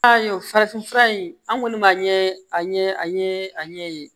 Farafinfura in an kɔni b'a ɲɛ a ɲɛ an ye a ɲɛ yen